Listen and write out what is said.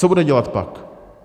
Co bude dělat pak?